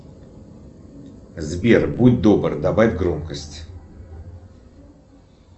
сбер будь добр добавь громкость